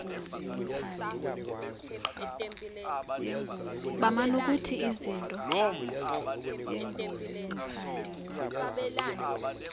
baman ukuthi izinto